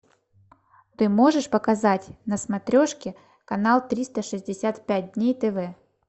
ты можешь показать на смотрешке канал триста шестьдесят пять дней тв